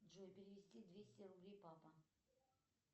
джой перевести двести рублей папа